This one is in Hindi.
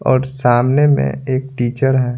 और सामने में एक टीचर है।